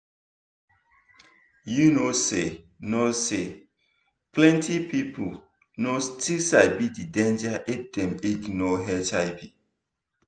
you know say know say plenty people no still sabi the danger if dem ignore hiv